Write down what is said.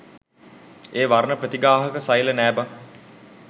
ඒ වර්ණ ප්‍රතිග්‍රාහක සෛල නෑ බං